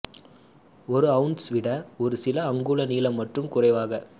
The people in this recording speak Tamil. ஒரு அவுன்ஸ் விட ஒரு சில அங்குல நீளம் மற்றும் குறைவாக